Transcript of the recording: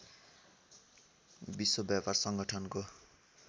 विश्व व्यापार सङ्गठनको